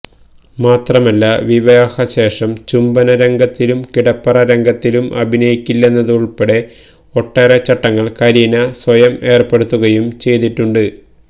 മാത്രമല്ല വിവാഹശേഷം ചുംബനരംഗത്തിലും കിടപ്പറ രംഗത്തിലും അഭിനയിക്കില്ലെന്നതുള്പ്പെടെ ഒട്ടേറെ ചട്ടങ്ങള് കരീന സ്വയം ഏര്പ്പെടുത്തുകയും ചെയ്തിട്ടുണ്ട്